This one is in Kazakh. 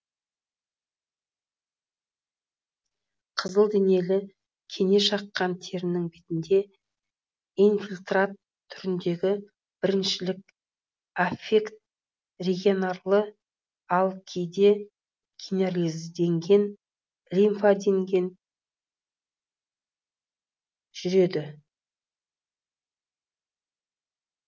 қызылденелі кене шаққан терінің бетінде инфильтрат түріндегі біріншілік аффект регионарлы ал кейде генерализденген лимфаденген жүреді